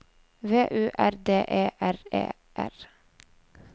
V U R D E R E R